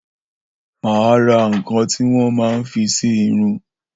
Mà á ra nǹkan tí wọ́n ma ń fín sí irun.